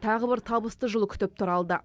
тағы бір табысты жыл күтіп тұр алда